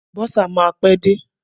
Bọ́sà máa pẹ́ dé.